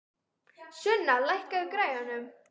Sunna, lækkaðu í græjunum.